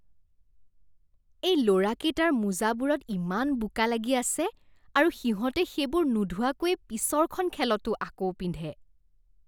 এই ল'ৰাকেইটাৰ মোজাবোৰত ইমান বোকা লাগি আছে আৰু সিহঁতে সেইবোৰ নোধোৱাকৈয়ে পিছৰখন খেলতো আকৌ পিন্ধে।